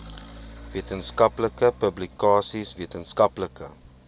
wetenskaplike publikasies wetenskaplike